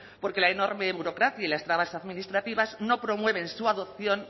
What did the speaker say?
porque la enorme burocracia y las trabas administrativas no promueven su adopción